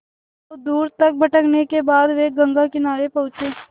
बहुत दूर तक भटकने के बाद वे गंगा किनारे पहुँचे